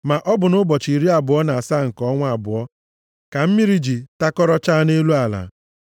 Ma ọ bụ nʼụbọchị iri abụọ na asaa nke ọnwa abụọ ka mmiri ji takọrọchaa nʼelu ala.